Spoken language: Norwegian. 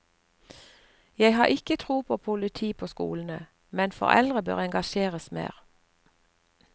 Jeg har ikke tro på politi på skolene, men foreldrene bør engasjeres mer.